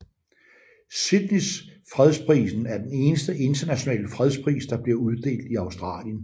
Sydneys fredsprisen er den eneste internationale fredspris der bliver uddelt i Australien